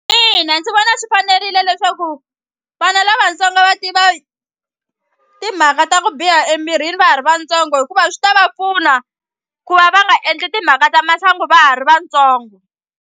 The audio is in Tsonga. Ina ndzi vona swi fanerile leswaku vana lavatsongo va tiva timhaka ta ku biha emirini va ha ri vatsongo hikuva swi ta va pfuna ku va va nga endli timhaka ta masangu va ha ri vatsongo.